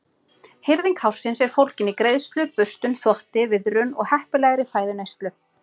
Hirðing hársins er fólgin í greiðslu, burstun, þvotti, viðrun og heppilegri fæðuneyslu.